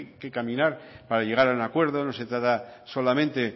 que hay que caminar para llegar a un acuerdo no se trata solamente